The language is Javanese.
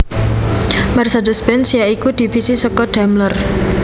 Mercedes Benz ya iku divisi saka Daimler